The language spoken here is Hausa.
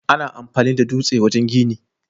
Ana amfani da dutse wajen gini.